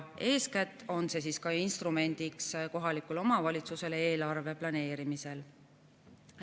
Eeskätt on see ka instrumendiks kohalikule omavalitsusele eelarve planeerimisel.